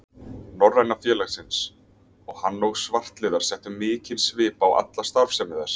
Norræna félagsins, og hann og svartliðar settu mikinn svip á alla starfsemi þess.